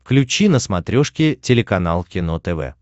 включи на смотрешке телеканал кино тв